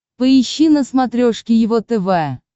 поищи на смотрешке его тв